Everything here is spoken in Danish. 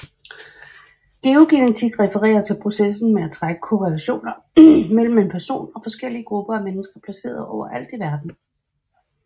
Geogenetik refererer til processen med at trække korrelationer mellem en person og forskellige grupper af mennesker placeret overalt i verden